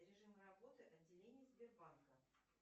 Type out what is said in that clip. режим работы отделений сбербанка